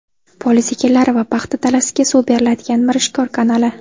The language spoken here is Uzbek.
Poliz ekinlari va paxta dalasiga suv beriladigan Mirishkor kanali.